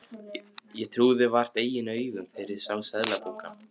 Ég trúði vart eigin augum þegar ég sá seðlabunkann.